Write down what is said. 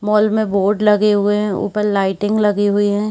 Mall में board लगे हुए है उपर लाइटिंग लगी हुई है।